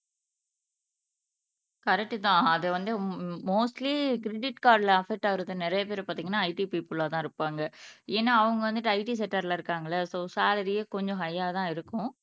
கரெக்ட்தான் அது வந்து உம் மோஸ்ட்லி கிரெடிட் கார்டுல அஃபக்ட் ஆகுறது நிறைய பேர் பார்த்தீங்கன்னா IT பிப்பலா தான் இருப்பாங்க ஏன்னா அவங்க வந்துட்டு IT செக்டர்ல இருக்காங்க இல்லை சோ சலரியே கொஞ்சம் ஹையாதான் இருக்கும்